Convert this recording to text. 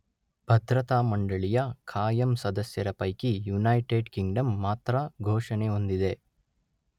ಭದ್ರತಾ ಮಂಡಳಿಯ ಕಾಯಂ ಸದಸ್ಯರ ಪೈಕಿ ಯುನೈಟೆಡ್ ಕಿಂಗ್ಡಮ್ ಮಾತ್ರ ಘೋಷಣೆ ಹೊಂದಿದೆ.